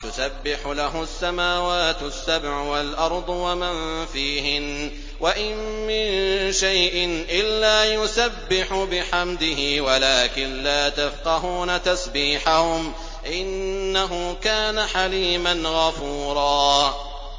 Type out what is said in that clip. تُسَبِّحُ لَهُ السَّمَاوَاتُ السَّبْعُ وَالْأَرْضُ وَمَن فِيهِنَّ ۚ وَإِن مِّن شَيْءٍ إِلَّا يُسَبِّحُ بِحَمْدِهِ وَلَٰكِن لَّا تَفْقَهُونَ تَسْبِيحَهُمْ ۗ إِنَّهُ كَانَ حَلِيمًا غَفُورًا